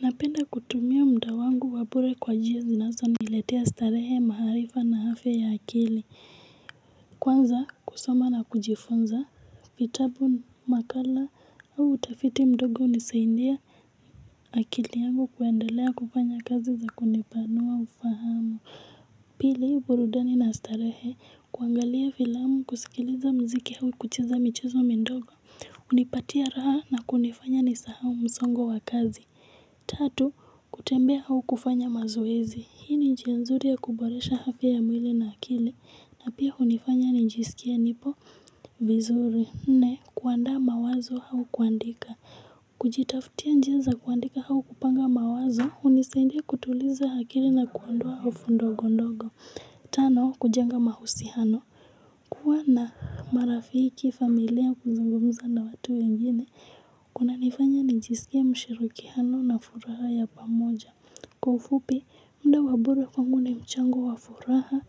Napenda kutumia muda wangu wa bure kwa njia zinazoniletea starehe maarifa na afya ya akili. Kwanza kusoma na kujifunza vitabu makala au utafiti mdogo unisaidia akili yangu kuendelea kufanya kazi za kunipanua ufahamu. Pili burudani na starehe kuangalia filamu kusikiliza muziki au kucheza michezo midogo hunipatia raha na kunifanya nisahau msongo wa kazi. Tatu, kutembea au kufanya mazoezi. Hii ni njia nzuri ya kuboresha afya ya mwili na akili. Na pia hunifanya njisikie nipo vizuri. Nne, kuandaa mawazo au kuandika. Kujitaftia njia za kuandika au kupanga mawazo. Hunisaidia kutuliza akili na kuondoa hofu ndogo ndogo. Tano, kujenga mahusiano. Kwa na marafiki familia kuzungumza na watu wengine. Kunanifanya nijisikie mshirikiano na furaha ya pamoja. Kwa ufupi muda wa bure kwa kwangu una mchango wa furaha.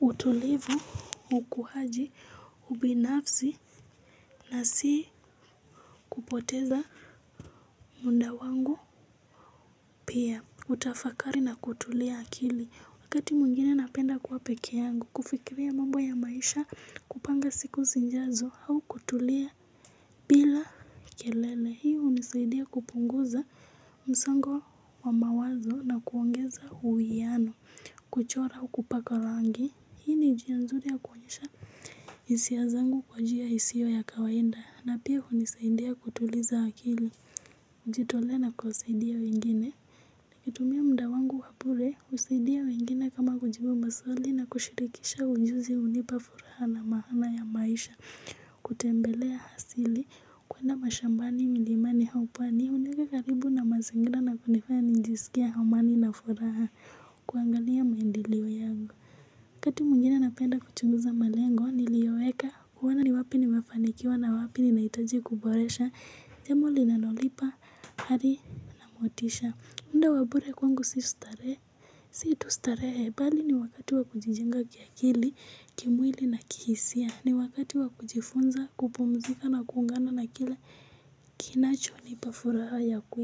Utulivu, ukuaji, ubinafsi na si kupoteza muda wangu pia hutafakari na kutulia akili wakati mwingine napenda kwa pekee yangu. Kufikiria mambo ya maisha kupanga siku sijazo au kutulia bila kelele. Hii hunisaidia kupunguza msongo wa mawazo na kuongeza uwiano. Kuchora kupaka rangi, hii njia nzuri ya kuonesha hisia zangu kwa njia isiyo ya kawaida na pia hunisaidia kutuliza akili kujitoleana kuwasaidia wengine. Nikitumia muda wangu wa bure, kusaidia wengine kama kujibu maswali na kushirikisha ujuzi hunipa furaha na maana ya maisha. Kutembelea asili kwenda mashambani milimani au park nikaweka karibu na mazingira na kunifanya nijisikie amani na furaha. Kuangalia maendeleo yangu. Wakati mwingine napenda kuchunguza malengo niliyoweka. Kuona ni wapi nimefanikiwa na wapi ninahitaji kuboresha jambo linalonipa ari na motisha muda wa bure kwangu si starehe. Si tu starehe bali ni wakati wa kujijenga kiakili kimwili na kihisia ni wakati wa kujifunza kupumzika na kuungana na kila kinachonipa furaha ya kweli.